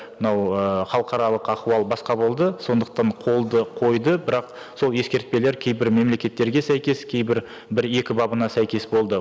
мынау ыыы халықаралық ахуал басқа болды сондықтан қолды қойды бірақ сол ескертпелер кейбір мемлекеттерге сәйкес кейбір бір екі бабына сәйкес болды